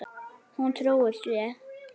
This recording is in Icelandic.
Hún trúir því.